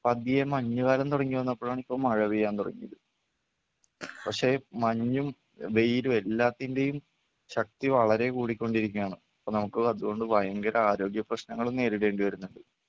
പതിയെ മഞ്ഞുകാലം തുടങ്ങി വന്നപ്പോഴാണ് ഇപ്പോ മഴ പെയ്യാൻ തുടങ്ങിയത്. പക്ഷേ മഞ്ഞും വെയിലും എല്ലാത്തിൻ്റെയും ശക്തി വളരെ കൂടിക്കൊണ്ടിരിക്കുകയാണ്. അപ്പോ നമുക്ക് അതുകൊണ്ട് ഭയങ്കര ആരോഗ്യ പ്രശ്നങ്ങളും നേരിടേണ്ടി വരുന്നുണ്ട്.